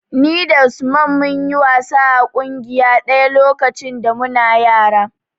Ni da Usman mun yi wasa a ƙungiya ɗaya lokacin da muna yara.